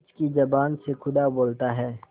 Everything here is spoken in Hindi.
पंच की जबान से खुदा बोलता है